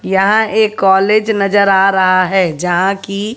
यहां एक कॉलेज नजर आ रहा है जहां की--